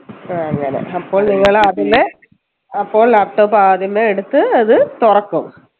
ആ അങ്ങനെ അപ്പോൾ നിങ്ങൾ അതിനെ അപ്പോൾ laptop ആദ്യമേ എടുത്ത് അത് തൊറക്കും